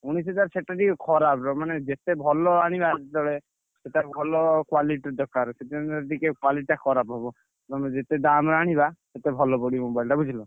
ଉଣେଇଶି ହଜାର ସେଟା ଟିକେ ଖରାପ ମାନେ ଯେତେ ଭଲ ଆଣିବା ଯେତବେଳେ ସେଟା ଭଲ quality ଦରକାର। ସେଥିପାଇଁ ଟିକେ quality ଟା ଖରାପ ହବ। ତମେ ଯେତେ ଦାମ୍ ଆଣିବା ସେତେ ଭଲ ପଡିବ mobile ଟା ବୁଝିଲ।